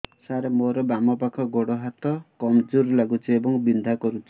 ସାର ମୋର ବାମ ପାଖ ଗୋଡ ହାତ କମଜୁର ଲାଗୁଛି ଏବଂ ବିନ୍ଧା କରୁଛି